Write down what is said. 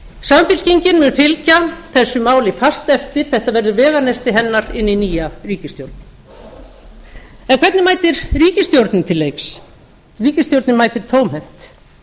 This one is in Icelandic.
samfylkingin mun fylgja þessu máli fast eftir þetta verður veganesti hennar inn í nýja ríkisstjórn en hvernig mætti ríkisstjórnin til leiks ríkisstjórnin mætir tómhent